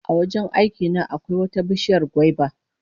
A wajen aiki na akwai wata bishiyar gwaiba